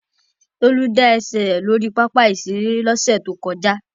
Tolu da ẹsẹ rẹ lori papa-iṣere losẹ to koja.